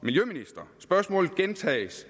spørgsmålet gentages